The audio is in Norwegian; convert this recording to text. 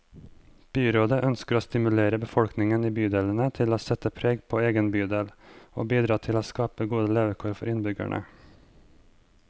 Byrådet ønsker å stimulere befolkningen i bydelene til å sette preg på egen bydel, og bidra til å skape gode levekår for innbyggerne.